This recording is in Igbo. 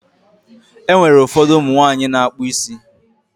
E nwere ụfọdụ ụmụ nwaanyị na-akpụ isi.